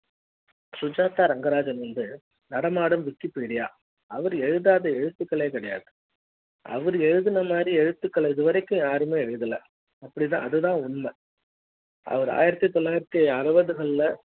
சுஜாதா ரங்கராஜன் வந்து நடமாடும் wikipedia அவர் எழுதாத எழுத்துக்கள் கிடையாது அவரு எழுதுன மாதிரி எழுத்துக்கள இது வரைக்கும் யாருமே எழுதல அப்படித்தான் அதுதான் உண்மை அவரு ஆயிரத்து தொள்ளாயிரத்து அறுபதுகள்ல